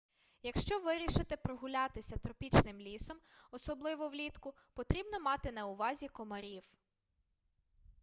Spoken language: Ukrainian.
якщо вирішите прогулятися тропічним лісом особливо влітку потрібно мати на увазі комарів